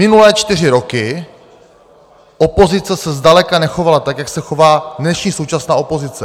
Minulé čtyři roky opozice se zdaleka nechovala tak, jak se chová dnešní současná opozice.